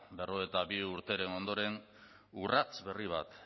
berrogeita bi urteren ondoren urrats berri bat